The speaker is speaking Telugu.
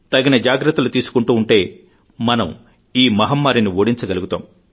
తగిన జాగ్రత్తలు తీసుకుంటూ ఉంటే మనం ఈ మహమ్మారిని ఓడించగలుగుతాం